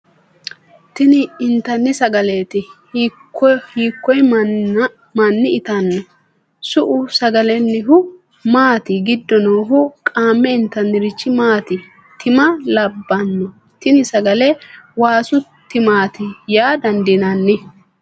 tini intanni sagaleeti. hiikko manni itanno ? su'u sagalennihu maati giddo noohu qaamme intannirichi maati ? tima labbanno tini sagale ? waasu timaati yaa dandiinanni ?